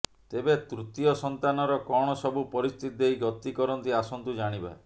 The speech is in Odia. ତେବେ ତୃତୀୟ ସନ୍ତାନର କଣ ସବୁ ପରିସ୍ଥିତି ଦେଇ ଗତି କରନ୍ତି ଆସନ୍ତୁ ଜାଣିବା